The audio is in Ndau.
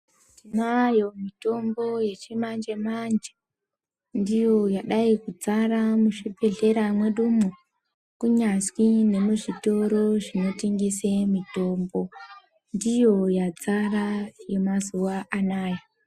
Tinayo mitombo yechimanje manje ndiyo yadai kudzara muzvibhedhlera mwedumwo kunyazwi ngemuzitoro zvinotengese mitombo ndiyo yadzara yemazuwanaya.